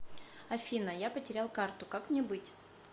афина я потерял карту как мне быть